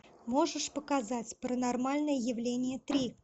можешь показать паранормальное явление три